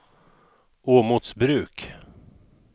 Åmotsbruk